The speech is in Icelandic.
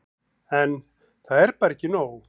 En. það er bara ekki nóg.